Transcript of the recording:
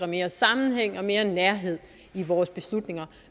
mere sammenhæng og mere nærhed i vores beslutninger